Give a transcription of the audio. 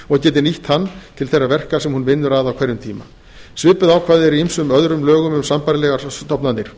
og geti nýtt hann til þeirra verka sem hún vinnur að á hverjum tíma svipuð ákvæði eru í ýmsum öðrum lögum um sambærilegar stofnanir